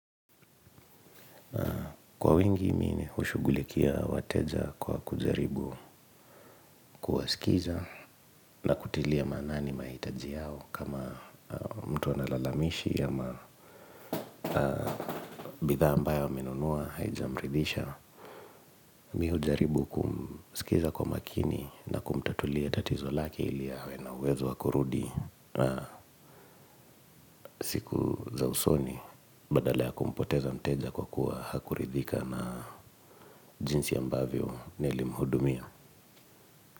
Kwa wingi mimi hushughulikia wateja kwa kujaribu kuwasikiza na kutilia maanani mahitaji yao kama mtu ana lalamishi ama mbitha ambayo amenunua haijamridisha. Mimi hujaribu kumsikiza kwa makini na kumtatulia tatizo lake ili awe na uwezo wa kurudi siku za usoni. Badala ya kumpoteza mteja kwa kuwa hakuridhika na jinsi ambavyo nilimhudumia.